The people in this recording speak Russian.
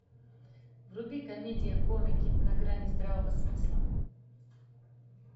вруби комедия комики на грани здравого смысла